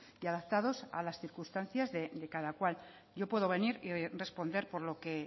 y adaptados a las circunstancias de cada cual yo puedo venir y responder por lo que